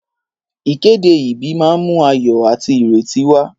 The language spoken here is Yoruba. Ìkéde ìbí máa ń mú ayọ̀ àti ìrètí wá.